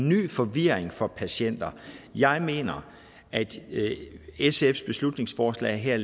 ny forvirring for patienterne jeg mener at sfs beslutningsforslag her